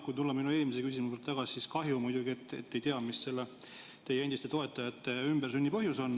Kui tulla minu eelmise küsimuse juurde tagasi, siis kahju muidugi, et te ei tea, mis teie endiste toetajate ümbersünni põhjus on.